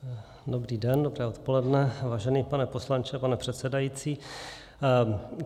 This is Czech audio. Dobrý den, dobré odpoledne, vážený pane poslanče, pane předsedající.